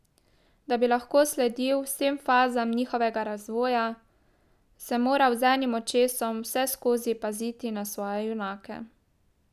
Da bi lahko sledil vsem fazam njihovega razvoja, sem moral z enim očesom vseskozi paziti na svoje junake.